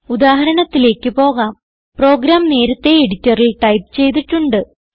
ഉദാഹരണത്തിലേക്ക് പോകാം പ്രോഗ്രാം നേരത്തെ എഡിറ്ററിൽ ടൈപ്പ് ചെയ്തിട്ടുണ്ട്